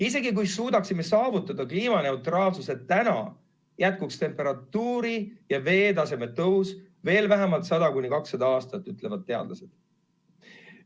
Isegi kui suudaksime saavutada kliimaneutraalsuse täna, jätkuks temperatuuri ja veetaseme tõus veel vähemalt 100–200 aastat, ütlevad teadlased.